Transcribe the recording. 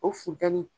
O funtɛni